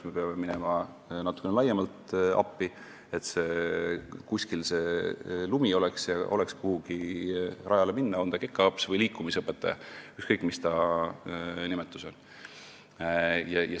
Me peame natukene laiemalt talle appi minema, et see lumi kuskil oleks ja kekaõpsil või liikumisõpetajal, ükskõik mis see nimetus on, oleks kuhugi rajale minna.